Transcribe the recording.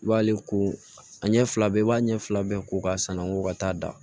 I b'ale ko a ɲɛ fila bɛɛ i b'a ɲɛ fila bɛɛ ko k'a sanangon ka taa da